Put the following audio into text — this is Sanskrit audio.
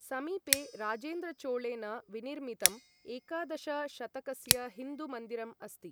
समीपे राजेन्द्रचोळेन विनिर्मितं एकादश शतकस्य हिन्दु मन्दिरम् अस्ति।